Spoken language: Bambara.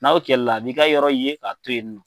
N'aw kɛla la , a b'i ka yɔrɔ ye k'a to yen.